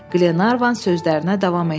Qlenarvan sözlərinə davam etdi.